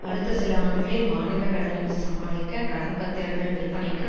அடுத்த சில ஆண்டுகளில் மாநில கடனை சமாளிக்க கடன் பத்திரங்கள் விற்பனைக்கு